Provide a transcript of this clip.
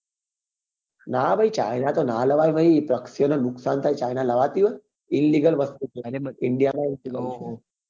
ના ભાઈ China તો નાં લવાય ભાઈ પક્ષી ઓ ને નુકસાન થાય China લાવતી હોય illegal વસ્તુ છે કેવાય અને india માં